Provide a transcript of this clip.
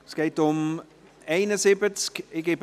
Es geht um das Traktandum